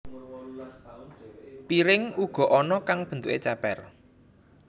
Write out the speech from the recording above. Piring uga ana kang bentuké cépér